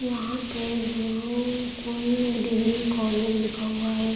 यहाँ पे Gurukul degree college लिखा हुआ है।